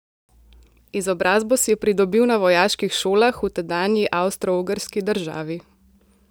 Izobrazbo si je pridobil na vojaških šolah v tedanji Avstroogrski državi.